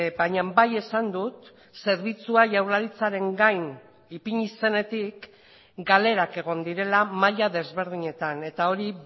baina bai esan dut zerbitzua jaurlaritzaren gain ipini zenetik galerak egon direla maila desberdinetan eta hori